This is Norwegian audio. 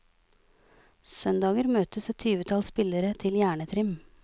Søndager møtes et tyvetall spillere til hjernetrim.